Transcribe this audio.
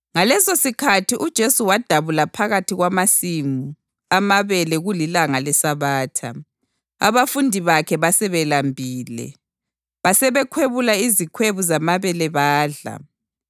Ngalesosikhathi uJesu wadabula phakathi kwamasimu amabele kulilanga leSabatha. Abafundi bakhe basebelambile, basebekhwebula izikhwebu zamabele badla.